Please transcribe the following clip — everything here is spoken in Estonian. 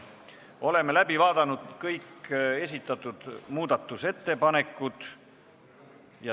Oleme läbi vaadanud kõik esitatud muudatusettepanekud.